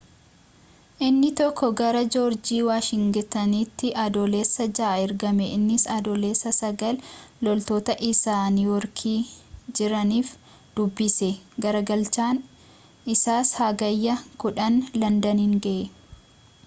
innii tokkoo gara joorjii waashingitanitti adoolessa 6 ergame innis adoolessa 9 loltoota isaa niw yoorkii jiraniif dubbise garagalchaan isaas hagayya 10 landaniin ga'e